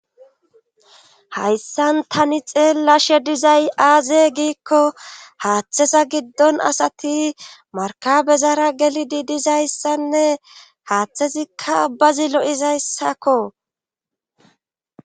hayssan tani xeellashe dizay aaze giikko haaththesa giddon asati markabezaara geli di dizayssanne haaththezikka abbazi lo7izayssakko